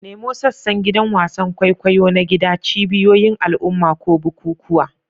Nemo sassan gidan wasan kwaikwayo na gida, cibiyoyin al'umma, ko bukukuwa.